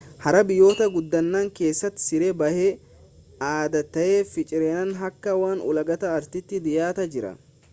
har'a biyyoota guddatan keessatti siree baay'ee adda ta'ee fi cireen akka waan ulaagaa artiiti dhiyaataa jira